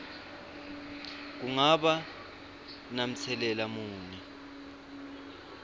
kungaba namtselela muni